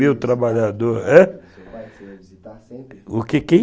trabalhador... O que, quem?